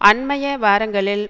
அண்மைய வாரங்களில்